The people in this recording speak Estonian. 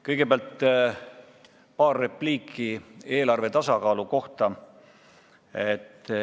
Kõigepealt paar repliiki eelarve tasakaalu kohta.